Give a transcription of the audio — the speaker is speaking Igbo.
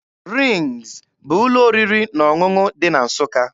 RINGZ bụ ụlọ oriri na ọṅụṅụ dị na Nsụka.